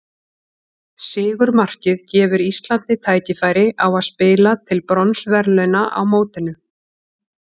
Sigurmarkið gefur Íslandi tækifæri á að spila til bronsverðlauna á mótinu.